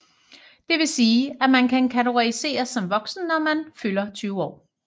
Det vil sige at man kan kategoriseres som voksen når man fylder 20 år